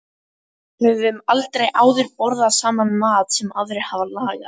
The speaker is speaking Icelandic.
Höfum aldrei áður borðað saman mat sem aðrir hafa lagað.